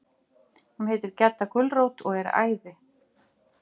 Og hún heitir Gedda gulrót og er æði.